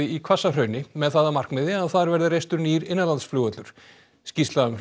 í Hvassahrauni með það að markmiði að þar verði reistur nýr innanlandsflugvöllur skýrsla um